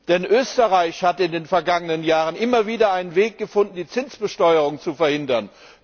Denn Österreich hat in den vergangenen Jahren immer wieder einen Weg gefunden, die Zinsbesteuerung zu verhindern.